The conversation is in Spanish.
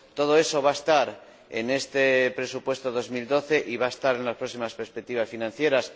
Todo eso va a estar en este presupuesto 2012 y en las próximas perspectivas financieras.